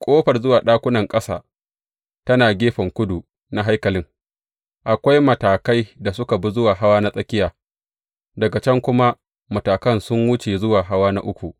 Ƙofar zuwa ɗakunan ƙasa tana gefen kudu na haikalin; akwai matakai da suka bi zuwa hawa na tsakiya, daga can kuma matakan sun wuce zuwa hawa na uku.